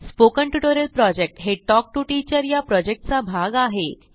spoken tutorial project हे talk to teacher या प्रॉजेक्टचा भाग आहे